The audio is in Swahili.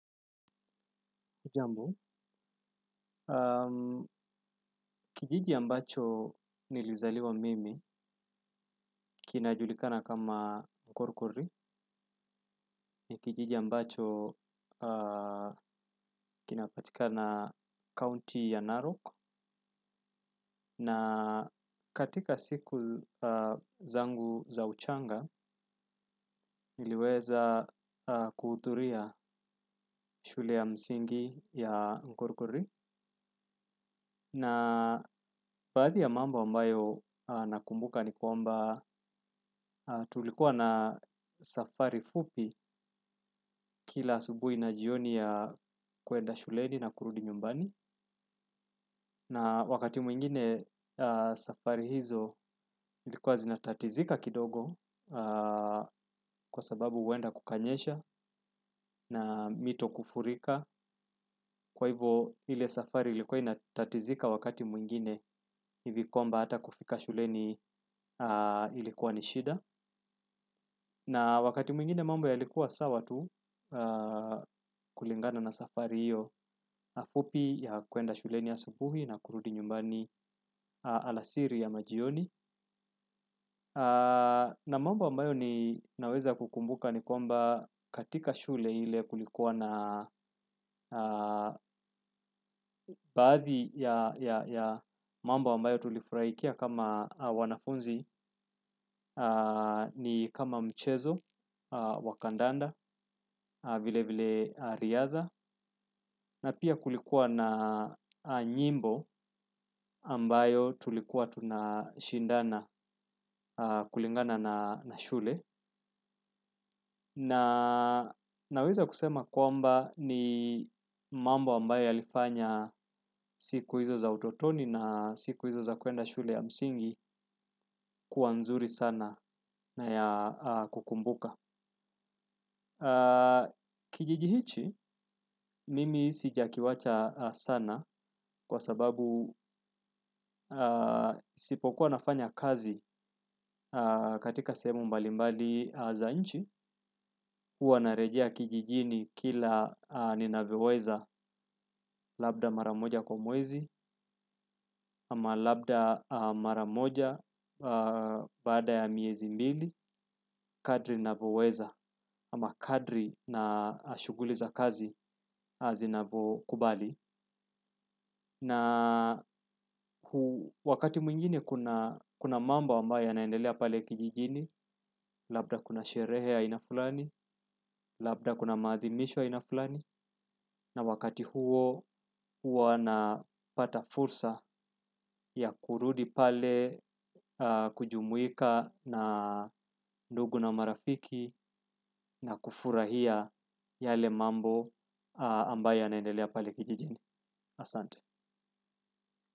Ujambo, kijiji ambacho nilizaliwa mimi, kinajulikana kama Nkorkori, ni kijiji ambacho kinapatikana county ya Narok, na katika siku zangu za uchanga, niliweza kuturia shule ya msingi ya Nkorkori. Na baadhi ya mambo ambayo nakumbuka ni kwamba tulikuwa na safari fupi kila asubui na jioni ya kuenda shuleni na kurudi nyumbani. Na wakati mwingine safari hizo likuwa zinatatizika kidogo kwa sababu huwenda kukanyesha na mito kufurika. Kwa hivo hile safari ilikuwa inatatizika wakati mwingine hivi kwmba hata kufika shuleni ilikuwa ni shida. Na wakati mwingine mamba yalikuwa sawa tu kulingana na safari hiyo fupi ya kuenda shuleni asubuhi na kurudi nyumbani alasiri ya majioni. Na mambo ambayo ninaweza kukumbuka ni kwamba katika shule hile kulikuwa na baadhi ya mambo ambayo tulifurahikia kama wanafunzi ni kama mchezo wa kandanda vile vile riadha. Na pia kulikuwa na nyimbo ambayo tulikuwa tunashindana kulingana na shule. Na naweza kusema kwamba ni mambo ambayo yalifanya siku hizo za utotoni na siku hizo za kuenda shule ya msingi kuwa nzuri sana na ya kukumbuka. Kijiji hichi, mimi sijakiwacha sana kwa sababu sipokuwa nafanya kazi katika sehemu mbalimbali za nchi. Uwa narejia kijijini kila ninavyoweza labda maramoja kwa mwezi. Ama labda maramoja baada ya miezi mbili kadri navoweza ama kadri na shuguli za kazi zinavokubali. Na wakati mwingine kuna mambo ambayo yanaendelea pale kijijini, labda kuna sherehe ya aina fulani, labda kuna maathimisho aina fulani, na wakati huo huwa napata fursa ya kurudi pale kujumuika na ndugu na marafiki na kufurahia yale mambo ambayo yanaendelea pale kijijini.